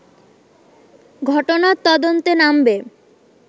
ঘটনার তদন্তে নামবে